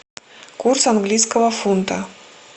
курс английского фунта